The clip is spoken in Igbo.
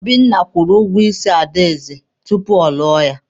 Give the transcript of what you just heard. Obinna kwụrụ ụgwọ isi Adaeze tupu ọ lụọ ya.